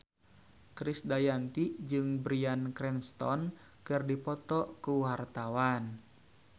Krisdayanti jeung Bryan Cranston keur dipoto ku wartawan